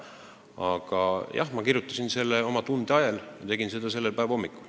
Aga jah, ma kirjutasin selle oma tunde ajel, ma tegin seda selle päeva hommikul.